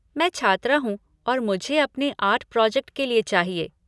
मैं छात्रा हूँ और मुझे अपने आर्ट प्रोजेक्ट के लिए चाहिए।